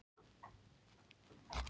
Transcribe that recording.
Gekk Þorgerður þegar inn í eldahús.